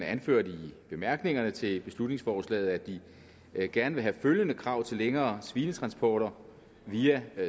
anført i bemærkningerne til beslutningsforslaget at de gerne vil have følgende krav til længere svinetransporter via